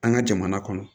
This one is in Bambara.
An ka jamana kɔnɔ